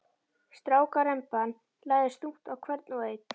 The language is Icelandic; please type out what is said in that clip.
Strákaremban lagðist þungt á hvern og einn.